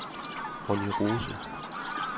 Ronni Rose